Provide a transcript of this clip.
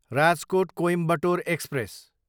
Rajkot, Coimbatore express